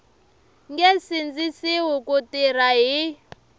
nge sindzisiwi ku tirha hi